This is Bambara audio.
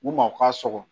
U ma u ka sɔgɔ